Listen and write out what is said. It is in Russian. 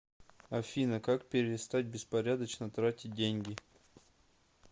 афина как перестать беспорядочно тратить деньги